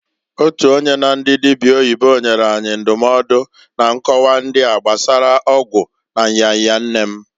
Otu onye na ndị dịbịa oyibo nyere anyị ndụmọdụ na nkọwa ndịa gbasara ọgwụ na nya nya nne m.